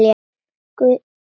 Guð hjálpi þér barn!